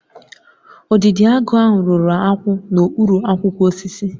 Udidoagu ahụ rụrụ akwụ n'okpuru akwụkwọ osisi